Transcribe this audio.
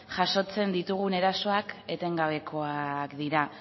jasotzen ditugun erasoak etengabekoak dira